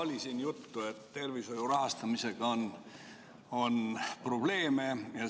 Juba oli siin juttu, et tervishoiu rahastamisega on probleeme.